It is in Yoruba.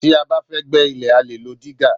Tí a bá fẹ́ gbẹ́ ilẹ̀ a lè lo dígà